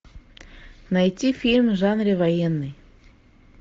найти фильм в жанре военный